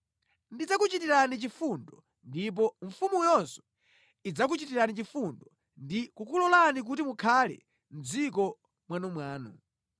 Ndidzakuchitirani chifundo, ndipo mfumuyonso idzakuchitirani chifundo ndi kukulolani kuti mukhale mʼdziko mwanumwanu.